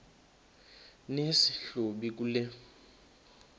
nesi hlubi kule